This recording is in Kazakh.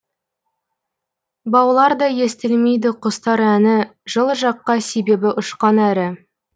баулар да естілмейді құстар әні жылы жаққа себебі ұшқан әрі